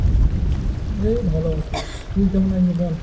এই ভালো আছি। তুই কেমন আছিস বল।